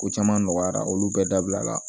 Ko caman nɔgɔyara olu bɛɛ dabila